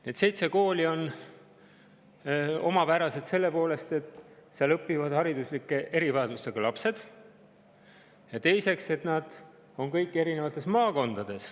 Need seitse kooli on omapärased selle poolest, et seal õpivad hariduslike erivajadustega lapsed ja, teiseks, nad kõik asuvad eri maakondades.